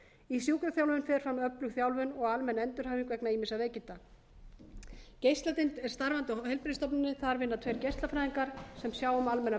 í sjúkraþjálfun fer fram öflug þjálfun og almenn endurhæfing vegna ýmissa veikinda geisladeild er starfrækt á heilbrigðisstofnuninni þar vinna tveir geislafræðingar sem sjá um